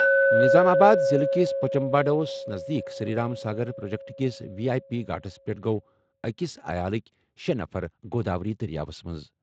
نظام آباد ضِلعہٕ کِس پوچمپاڈوَس نزدیٖک سری رام ساگر پروجیکٹ کِس وی آٮٔی پی گھاٹَس پٮ۪ٹھ گوٚو أکِس عیالٕکۍ شےٚ نفر گوداوری دٔریاوَس منٛز۔